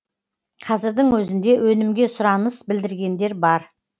қазірдің өзінде өнімге сұраныс білдіргендер бар